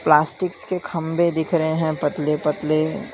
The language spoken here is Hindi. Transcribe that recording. प्लास्टिक्स के खंभे दिख रहे हैं पतले पतले --